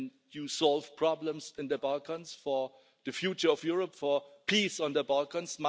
You are solving problems in the Balkans for the future of Europe, for peace in the Balkans.